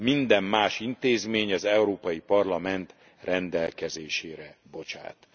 minden más intézmény az Európai Parlament rendelkezésére bocsát.